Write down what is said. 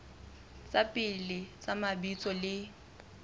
tsa pele tsa mabitso le